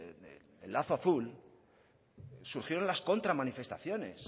del lazo azul surgieron las contramanifestaciones